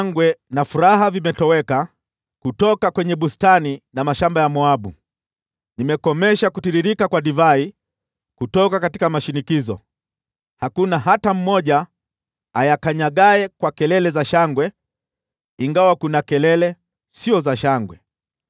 Shangwe na furaha vimetoweka kutoka bustani na mashamba ya Moabu. Nimekomesha kutiririka kwa divai kutoka mashinikizo; hakuna hata mmoja ayakanyagaye kwa kelele za shangwe. Ingawa kuna kelele, sio kelele za shangwe.